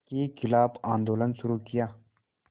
के ख़िलाफ़ आंदोलन शुरू किया